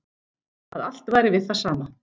Að allt væri við það sama.